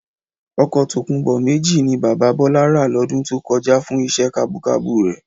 Ọkọ̀ tòkunbọ̀ méjì ni bàbá Bọlá rà lọdún tó kọjá fún iṣẹ́ kabúkabú rẹ̀